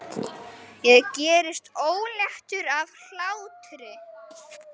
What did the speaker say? Ég gerist óléttur af hlátri.